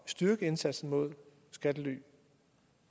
styrke indsatsen mod skattely